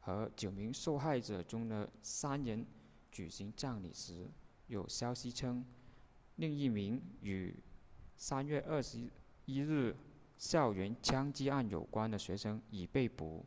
和九名受害者中的三人举行葬礼时有消息称另一名与3月21日校园枪击案有关的学生已被捕